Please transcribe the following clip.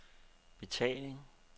betaling